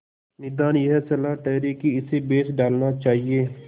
निदान यह सलाह ठहरी कि इसे बेच डालना चाहिए